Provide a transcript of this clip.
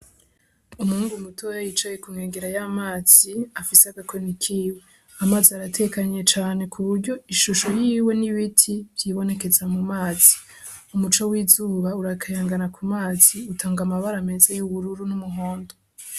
Umuhungu mutoya yicaye ku nkombe za mazi afise agakoni kiwe, Amazi aratekanye cane kuburyo ishusho yiwe n'ibiti vyibonekeza mu mazi, Umuco w'izuba urakayangana ku mazi utanga amabara meza y'ubururu n'umuhondo.